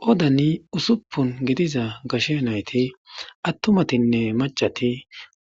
Qoodani usupun vidiza gashe nayti,attumatinne maccati